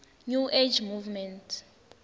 new age movement